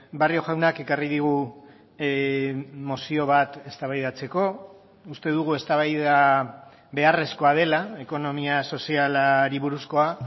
barrio jaunak ekarri digu mozio bat eztabaidatzeko uste dugu eztabaida beharrezkoa dela ekonomia sozialari buruzkoa